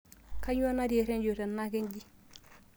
kainyio natii eredio tenaka nji